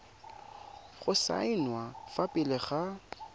go saenwa fa pele ga